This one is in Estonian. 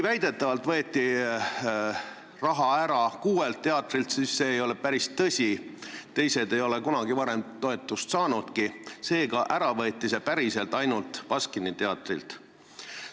Väidetavalt võeti raha ära kuuelt teatrilt, aga see ei ole päris tõsi: teised ei ole kunagi varem toetust saanudki, seega ära võeti see päriselt ainult Baskini teatrilt.